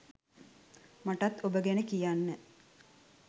මටත් ඔබ ගැන කියන්න